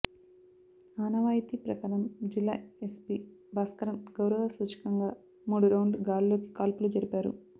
ఆనవాయతీ ప్రకారం జిల్లా ఎస్పీ భాస్కరన్ గౌరవ సూచకంగా మూడు రౌండ్లు గాల్లోకి కాల్పులు జరిపారు